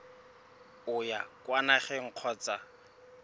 o ya kwa nageng kgotsa